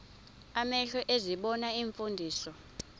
amehlo ezibona iimfundiso